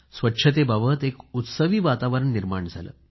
स्वच्छतेबाबत एक उत्सवी वातावरण निर्माण झाले